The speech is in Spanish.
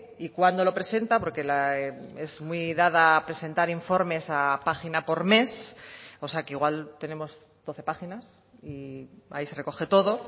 y cuándo lo presenta porque es muy dada a presentar informes a página por mes o sea que igual tenemos doce páginas y ahí se recoge todo